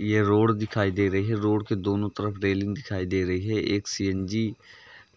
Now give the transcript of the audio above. ये रोड दिखाई दे रही है। रोड के दोनों तरफ रेलिंग दिखाई दे रही है। एक सी .एन .जी.